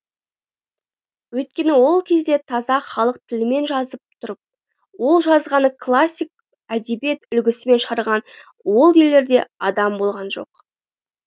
өйткені ол кезде таза халық тілімен жазып тұрып ол жазғаны классик әдебиет үлгісімен шығарған ол елдерде адам болған жоқ